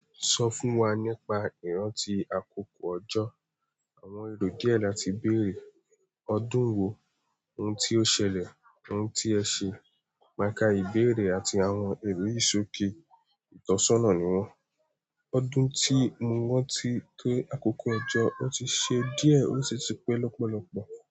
Sọ fún wa nípa ìrántì àkókò ọjọ́. Àwọn èrò díẹ̀ láti bèèrè. Ọdún wo? Ohun tí ó ṣẹlẹ̀? Ohun tí ẹ ṣe? Maà kà ìbéèrè àti àwọn èrò yìi sòké ìtọ́sọ́nà ni wọ́n. Ọdún tí mo ran ti wọ́n ti pé àkókò ojọ́, ó ti ṣe díẹ̀ ó sì ti pé lọ́pọ̀lọpọ̀.